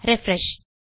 refresh